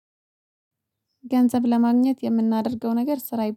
ገንዘብ ለማግኘት የምናደርገው ነገር ስራ